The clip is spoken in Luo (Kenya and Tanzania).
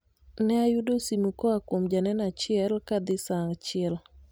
Ne ayudo sime koa kuom janeno achiel kadhi saa achiel.